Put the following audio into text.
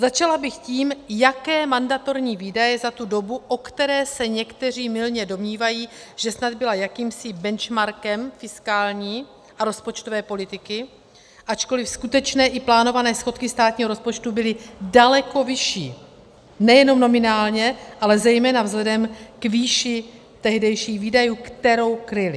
Začala bych tím, jaké mandatorní výdaje za tu dobu, o které se někteří mylně domnívají, že snad byla jakýmsi benchmarkem fiskální a rozpočtové politiky, ačkoliv skutečné i plánované schodky státního rozpočtu byly daleko vyšší nejenom nominálně, ale zejména vzhledem k výši tehdejších výdajů, kterou kryly.